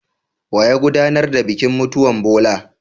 Waye ya godanar da bikin mutuwan Bola?